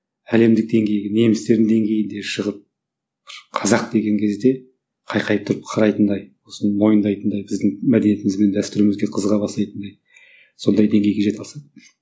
әлемдік деңгейге немістердің деңгейінде шығып бір қазақ деген кезде қайқайып тұрып қарайтындай осыны мойындайтындай біздің мәдениетіміз бен дәстүрімізге қызыға бастайтындай сондай деңгейге жете алсам